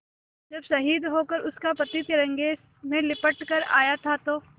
जब शहीद होकर उसका पति तिरंगे में लिपट कर आया था तो